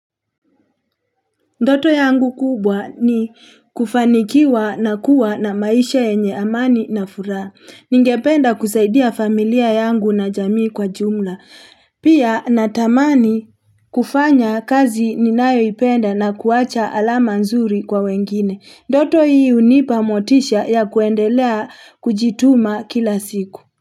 Ndoto yangu kubwa ni kufanikiwa na kuwa na maisha yenye amani na furaha. Ningependa kusaidia familia yangu na jamii kwa jumla. Pia natamani kufanya kazi ninayoipenda na kuacha alama nzuri kwa wengine. Ndoto hii hunipa motisha ya kuendelea kujituma kila siku.